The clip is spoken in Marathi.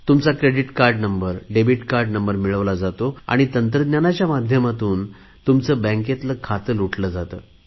तुमचा credit card number debit card number मिळवतात आणि तंत्रज्ञानाच्या माध्यमातून तुमचे बँकेतले खाते लुटले जाते